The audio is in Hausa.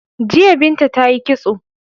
Jiya Binta ta yi kitso.